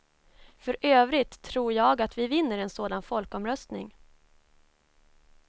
För övrigt tror jag att vi vinner en sådan folkomröstning.